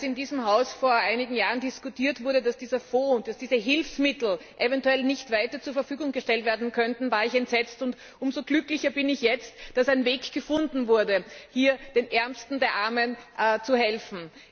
Als in diesem Haus vor einigen Jahren darüber diskutiert wurde, dass dieser Fonds und diese Hilfsmittel eventuell nicht weiter zur Verfügung gestellt werden können, war ich entsetzt. Umso glücklicher bin ich jetzt, dass ein Weg gefunden wurde, den Ärmsten der Armen zu helfen.